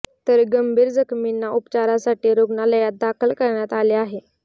तर गंभीर जखमींना उपचारासाठी रुग्णालयात दाखल करण्यात आले आहे